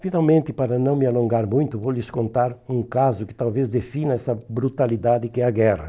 Finalmente, para não me alongar muito, vou lhes contar um caso que talvez defina essa brutalidade que é a guerra.